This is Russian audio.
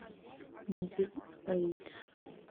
нью эйдж